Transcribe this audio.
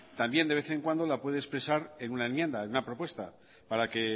también de vez en cuando la puede expresar en una enmienda en una propuesta para que